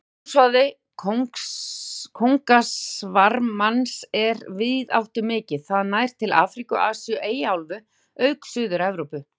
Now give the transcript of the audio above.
Búsvæði kóngasvarmans er víðáttumikið, það nær til Afríku, Asíu, Eyjaálfu auk Suður-Evrópu.